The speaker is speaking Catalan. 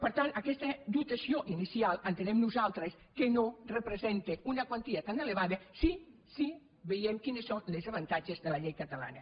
per tant aquesta dotació inicial entenem nosaltres que no representa una quantia tan elevada si veiem quins són els avantatges de la llei catalana